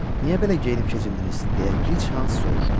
Niyə belə geyinib-keçindiniz deyə gic Hans soruşdu.